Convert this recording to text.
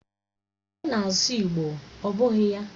Ọ na-asụ igbo, ọ bụghị ya?